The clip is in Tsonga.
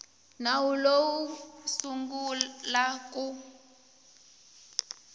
nawu lowu wu sungula ku